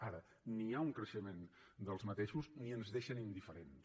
ara ni hi ha un creixement d’aquests ni ens deixen indiferents